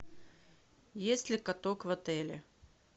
есть ли каток в отеле